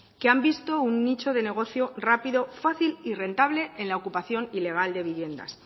que han visto un nicho de negocio rápido fácil y rentable en la ocupación ilegal de viviendas